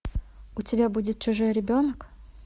у тебя будет чужой ребенок